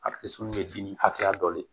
A tɛ sɔn kɛ dimi hakɛya dɔ de